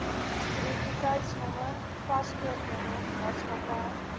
identiteitnommer paspoortnommer maatskappy